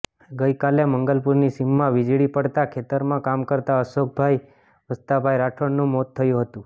ગઇકાલે મંગલપુરની સીમમાં વીજળી પડતા ખેતરમાં કામ કરતા અશોકભાઇ વસ્તાભાઇ રાઠોડનું મોત થયું હતું